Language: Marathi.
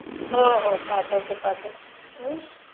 हो हो पाठवते पाठवते...हम्म्म